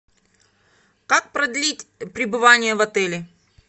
как продлить пребывание в отеле